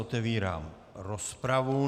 Otevírám rozpravu.